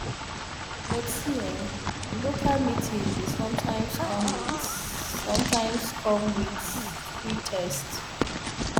but see eh local meeting dey sometimes come with sometimes come with free test